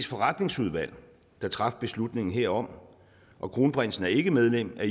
forretningsudvalg der traf beslutningen herom og kronprinsen er ikke medlem af